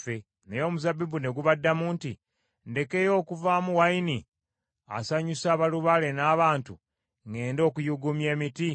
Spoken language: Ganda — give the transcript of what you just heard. Naye omuzabbibu ne gubaddamu nti, ‘Ndekeyo okuvaamu wayini asanyusa balubaale n’abantu, ŋŋende okuyuuguumya emiti?’